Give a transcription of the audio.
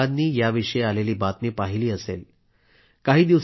तुम्ही सर्वांनी याविषयी आलेली बातमी पाहिली असेलही